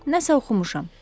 Nəsə oxumuşam.